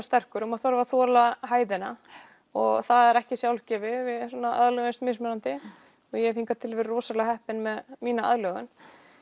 sterkur maður þarf að þola hæðina og það er ekki sjálfgefið við aðlögumst mismunandi og ég hef hingað til verið rosalega heppin með mína aðlögun